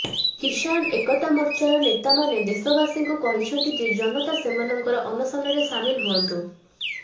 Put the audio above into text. କିଷାନ ଏକତା ମୋର୍ଚ୍ଚାର ନେତାମାନେ ଦେଶବାସୀଙ୍କୁ କହିଛନ୍ତି ଯେ ଜନତା ସେମାନଙ୍କର ଅନଶନରେ ସାମିଲ ହୁଅନ୍ତୁ